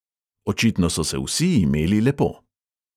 Očitno so se vsi imeli lepo.